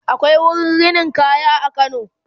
akwai wurin rinin kaya a kano